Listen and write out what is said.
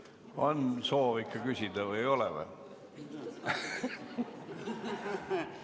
On soovi küsida või ei ole?